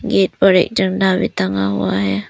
एक बड़े झंडा की टंगा हुआ है।